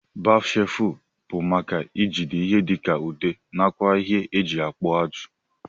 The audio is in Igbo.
Bat shelfu bu maka ijide ihe dika ude nakwa ihe eji akpu ajụ.